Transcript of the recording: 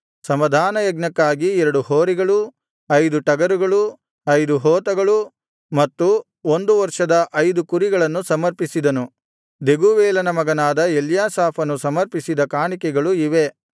ಸಮಾಧಾನಯಜ್ಞಕ್ಕಾಗಿ ಎರಡು ಹೋರಿಗಳು ಐದು ಟಗರುಗಳು ಐದು ಹೋತಗಳು ಮತ್ತು ಒಂದು ವರ್ಷದ ಐದು ಕುರಿಗಳನ್ನು ಸಮರ್ಪಿಸಿದನು ದೆಗೂವೇಲನ ಮಗನಾದ ಎಲ್ಯಾಸಾಫನು ಸಮರ್ಪಿಸಿದ ಕಾಣಿಕೆಗಳು ಇವೇ